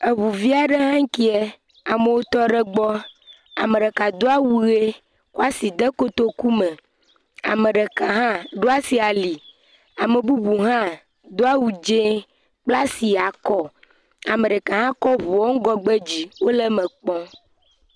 Eŋuvi aɖe hãe kea amewo tɔ ɖe egbɔ. Ame ɖeka do awu ʋi kɔ asi de kotokume. Ame ɖeka hã ɖo asi ali. Ame bubu hã do awu dzi kpla asi akɔ. Ame ɖeka hã kɔ ŋuawo ŋgɔgbe dzi wole eme kpɔm.